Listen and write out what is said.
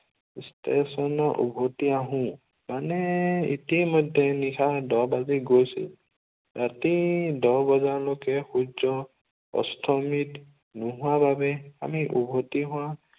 ষ্টেচনলৈ উভতি আহোঁ। মানে ইতিমধ্য়ে নিশা দহ বাজি গৈছিল। ৰাতিৰ দহ বজালৈকে সূৰ্য্য় অস্তমিত নোহোৱাৰ বাবে আমি ওভতি